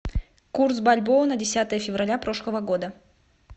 курс бальбоа на десятое февраля прошлого года